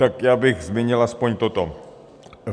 Tak já bych zmínil aspoň toto.